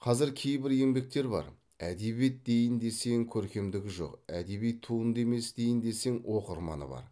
қазір кейбір еңбектер бар әдебиет дейін десең көркемдігі жоқ әдеби туынды емес дейін десең оқырманы бар